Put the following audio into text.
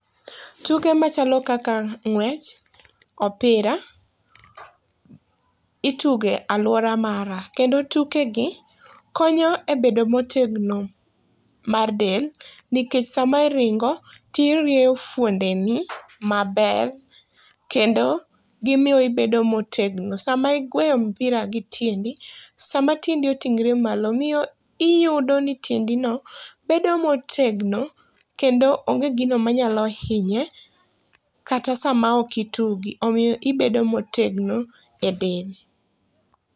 Tuke machalo kaka ng'wech, opira, ituge aluora mara, kendo tukegi konyo e bedo motegno mar del, nikech sama iringo, to irieyo fuondeni maber, kendo gimiyo ibedo motegno. Sama igweyo mpira gi tiendi, sama tiendi otingore malo, miyo iyudoni tiendino bedo motegno, kendo onge gino manyalo hinye kata sama okitugi. Omiyo ibedo motegno e del.